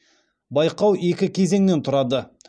байқау екі кезеңнен тұрады